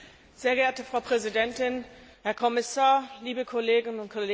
Frau Präsidentin, Herr Kommissar, liebe Kollegen und Kolleginnen!